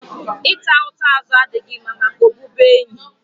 Ị ta ụta azụ adịghị mma maka ọbụbụenyi